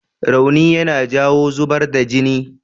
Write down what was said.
Rauni yana jawo zubar da jini.